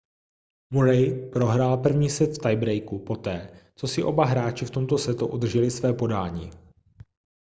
murray prohrál první set v tie breaku poté co si oba hráči v tomto setu udrželi své podání